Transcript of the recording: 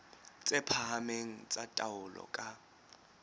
tse phahameng tsa taolo ka